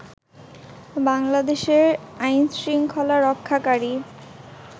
বাংলাদেশে আইন শৃঙ্খলা রক্ষাকারী